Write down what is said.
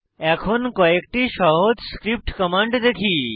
এখন কয়েকটি সহজ স্ক্রিপ্ট কমান্ড দেখি